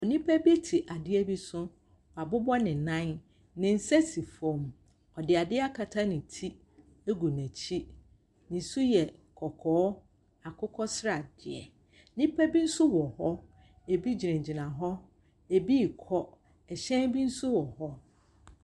Nnipa bi te adeɛ bi so. Wabobɔ ne nan. Ne nsa si fam. Ɔde adeɛ akata ne ti gu n'akyi. Ne su yɛ kɔkɔɔ, akokɔ sradeɛ. Nnipa bi nso wɔ hɔ, ebi gyinagyina hɔ, ebi rekɔ. Hyɛn bi nso wɔ hɔ.